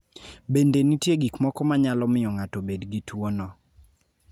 Bende nitie gik moko ma nyalo miyo ng�ato obed gi tuo no.